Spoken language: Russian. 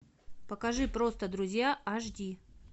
покажи просто друзья аш ди